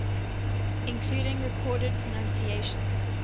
including recorded pronunciations